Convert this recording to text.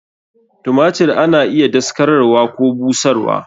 Tumatir ana iya daskararwa Koh busharwa.